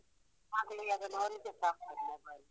ಮಕ್ಳಿಗೆ ಅದನ್ನು ನೋಡಿದ್ರೆ ಸಾಕು ಮತ್ತೆ mobile